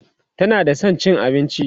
tana da San cin abinci